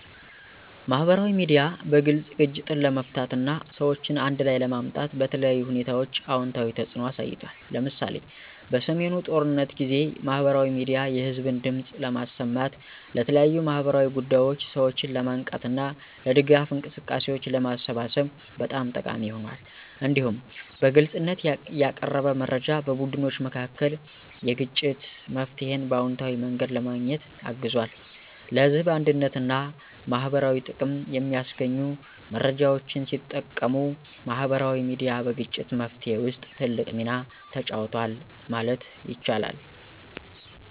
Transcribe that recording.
ማህበራዊ ሚዲያ በግልጽ ግጭትን ለመፍታት እና ሰዎችን አንድ ላይ ለማምጣት በተለያዩ ሁኔታዎች አዎንታዊ ተጽዕኖ አሳይቷል። ለምሳሌ፣ በሰሜኑ ጦርነት ጊዜ ማህበራዊ ሚዲያ የህዝብን ድምፅ ለማሰማት፣ ለተለያዩ ማህበራዊ ጉዳዮች ሰዎችን ለማንቃት እና ለድጋፍ እንቅስቃሴዎች ለማሰባሰብ በጣም ጠቃሚ ሆኗል። እንዲሁም በግልጽነት ያቀረበ መረጃ በቡድኖች መካከል የግጭት መፍትሄን በአዎንታዊ መንገድ ለማግኘት አግዟል። ለህዝብ አንድነትና ማህበረሰባዊ ጥቅም የሚያስገኙ መረጃዎችን ሲጠቀሙ ማህበራዊ ሚዲያ በግጭት መፍትሄ ውስጥ ትልቅ ሚና ተጫውቷል ማለት ይቻላል።